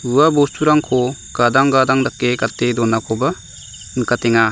ua bosturangko gadang gadang dake gate donakoba nikatenga.